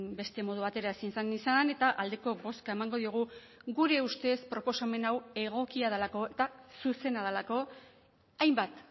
beste modu batera ezin zen izan eta aldeko bozka emango diogu gure ustez proposamen hau egokia delako eta zuzena delako hainbat